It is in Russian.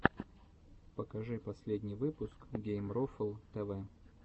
покажи последний выпуск геймрофл тэвэ